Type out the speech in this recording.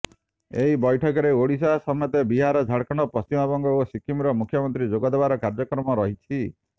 ଏହି ବୈଠକରେ ଓଡିଶା ସମେତ ବିହାର ଝାଡଖଣ୍ଡ ପଶ୍ଚିମ ବଙ୍ଗ ଓ ସିକିମର ମୁଖ୍ୟମନ୍ତ୍ରୀ ଯୋଗଦେବାର କାର୍ଯ୍ୟକ୍ରମ ରହିଛି